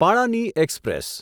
પાળાની express